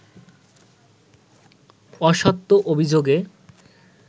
অসত্য অভিযোগে